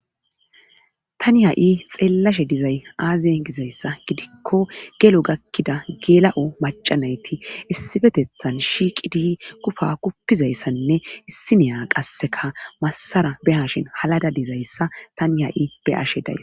Tani ha'i xeellashe dizay aazee gizayssa gidikko gelo gakkida gela'o macanayti issifetethan shiiqi dii kufa kupizayssanne issiniya qasseka massara be hashin halada dizayssa tani ha'i be ashe days.